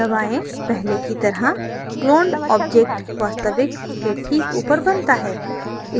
पहले की तरह cloned object वास्तविक के ठीक ऊपर बनता है